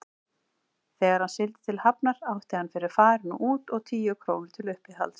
Þegar hann sigldi til Hafnar átti hann fyrir farinu út og tíu krónur til uppihalds.